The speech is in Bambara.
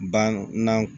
Banna